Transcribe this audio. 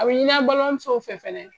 A bi an balimamusow fɛ fɛnɛ